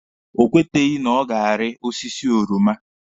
O kweteghi na ọ ga-ari osiso oroma.